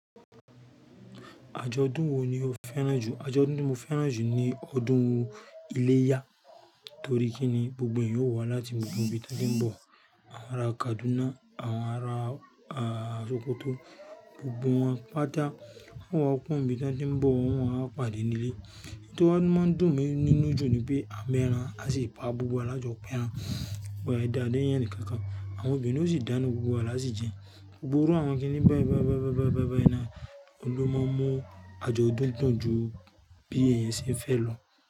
Àjọ̀dún wo ni o fẹ́ràn jù? Àjọ̀dún tí mo fẹ́ràn jù ni ọdún iléyá torí kíni gbogbo ẹ̀yan yóò wá láti gbogbo ibi tí wọ́n ti ń bọ̀. Àwọn ara Kaduna, àwọn ara Sokoto, gbogbo wọn pá tá wọ́n wá kúrò ní ibi tí wọ́n ti ń bọ̀ wọ́n a pàdé ní ilé. Èyí tí wa máa ń dùn mí nínú jù ni pé à mẹ́ran a sì pa gbogbo wa lọ́jọ́ pẹ́ran. Wọ́n e dá lé eníkankan. Àwọn ọbinrin ó sì dáná gbogbo wa lási jẹun. Gbogbo iru àwọn kíní báì báì báì báì báì báì báì náà oun lọ máa mu àjọ̀dún dùn ju bí ẹ̀yin ṣe ń fẹ́ lọ.